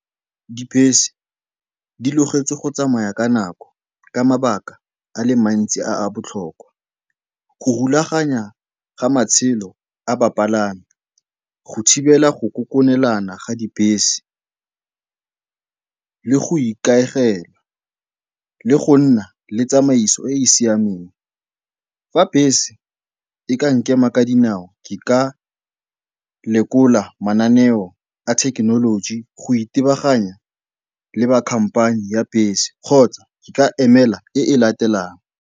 Dibese di logetswe go tsamaya ka nako ka mabaka a le mantsi a a botlhokwa. Go rulaganya ga matshelo a bapalami, go thibela go kokonelana ga dibese le go ikaegela, le go nna le tsamaiso e e siameng. Fa bese e ka nkema ka dinao, ke ka lekola mananeo a thekenoloji go itebaganya le ba khamphane ya bese kgotsa ke ka emela e e latelang.